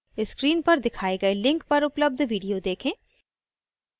screen पर दिखाए गए link पर उपलब्ध video देखें